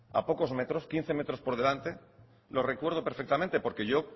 a pocos metros quince metros por delante lo recuerdo perfectamente porque yo